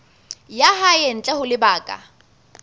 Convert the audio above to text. ya hae ntle ho lebaka